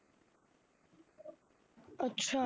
ਅੱਛਾ।